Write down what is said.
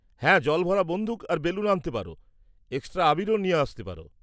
-হ্যাঁ, জল ভরা বন্দুক আর বেলুন আনতে পারো, এক্সট্রা আবীরও নিয়ে আসতে পারো।